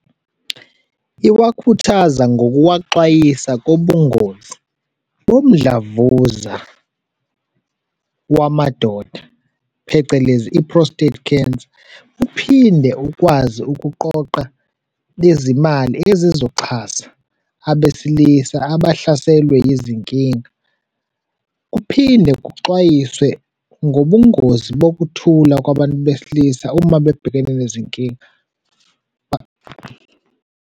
Iwakhuthaza ngokuwaxwayisa kobungozi bomdlavuza wamadoda, phecelezi i-prostate cancer. Uphinde ukwazi ukuqoqa lezi mali ezizoxhasa abesilisa abahlaselwe yizinkinga, kuphinde kuxwayiswe ngobungozi bokuthula kwabantu besilisa uma bebhekene nezinkinga.